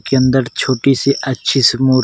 के अंदर छोटी सी अच्छी सी मूर्त --